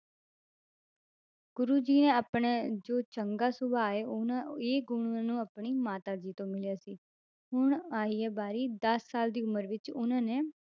ਗੁਰੂ ਜੀ ਨੇ ਆਪਣਾ ਜੋ ਚੰਗਾ ਸੁਭਾਅ ਹੈ ਉਹਨਾਂ ਇਹ ਗੁਣ ਉਹਨੂੰ ਆਪਣੀ ਮਾਤਾ ਜੀ ਤੋਂ ਮਿਲਿਆ ਸੀ, ਹੁਣ ਆਈ ਹੈ ਵਾਰੀ ਦਸ ਸਾਲ ਦੀ ਉਮਰ ਵਿੱਚ ਉਹਨਾਂ ਨੇ